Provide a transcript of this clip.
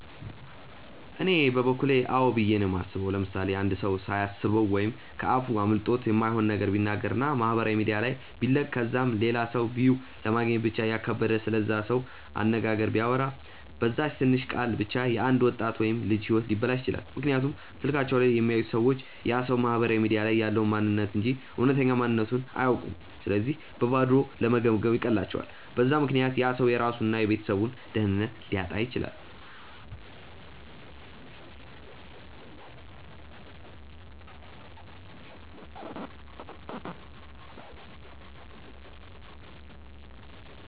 እኔ በበኩሌ አዎ ብዬ ነው የማስበው። ምሳሌ፦ አንድ ሰው ሳያስበው ወይም ከ አፉ አምልጦት የማይሆን ነገር ቢናገር እና ማህበራዊ ሚዲያ ላይ ቢለቅ ከዛም ለላ ሰው ቪው ለማግኘት ብቻ እያካበደ ስለዛ ሰው አነጋገር ቢያወራ፤ በዛች ትንሽ ቃል ብቻ የ አንድ ወጣት ወይም ልጅ ህይወት ሊበላሽ ይችላል፤ ምክንያቱም ስልካቸው ላይ የሚያዩት ሰዎች ያ ሰው ማህበራዊ ሚዲያ ላይ ያለውን ማንንነት እንጂ እውነተኛ ማንነትቱን አያውኩም ስለዚህ በባዶ ለመገምገም ይቀላቸዋል፤ በዛ ምክንያት ያ ሰው የራሱን እና የቤተሰቡን ደህንነት ሊያጣ ይችላል።